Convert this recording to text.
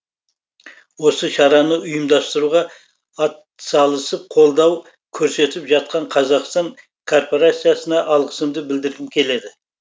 осы шараны ұйымдастыруға атсалысып колдау көрсетіп жатқан қазақстан корпорациясына алғысымды білдіргім келеді